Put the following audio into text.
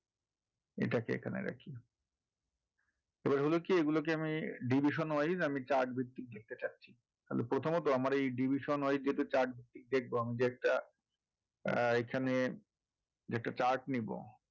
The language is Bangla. এটাকে এখানে রাখি এবার হলো কি এগুলোকে আমি division wise chart ভিত্তিক দেখতে পাচ্ছি তাহলে প্রথমত আমার এই division wise যেটা chart দেখবো আমি যে একটা আহ এখানে যেটা chart নেবো